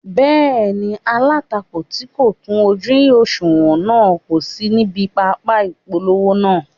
Bẹ́ẹ̀ni, alátakò tí kò kún ojú òṣùwọ̀n náà kò sí níbi pápá ìpolongo náà